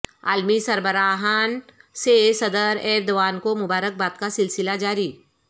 عالمی سربراہان سے صدر ایردوان کو مبارکباد کا سلسلہ جاری